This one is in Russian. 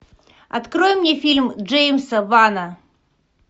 открой мне фильм джеймса вана